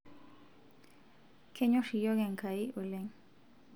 kenyorr iyiok Enkai oleng'